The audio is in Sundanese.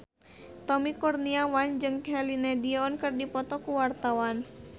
Tommy Kurniawan jeung Celine Dion keur dipoto ku wartawan